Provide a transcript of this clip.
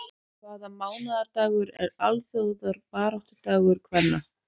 Hvaða mánaðardagur er alþjóðabaráttudagur kvenna?